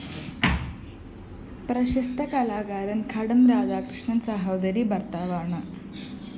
പ്രശസ്ത കലാകാരന്‍ ഘടം രാധാകൃഷ്ണന്‍ സഹോദരീ ഭര്‍ത്താവാണ്